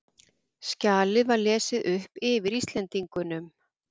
Skjalið var lesið upp yfir Íslendingunum.